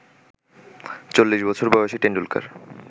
চল্লিশবছর বয়সী টেন্ডুলকার